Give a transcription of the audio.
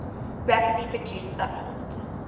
rapidly produced supplement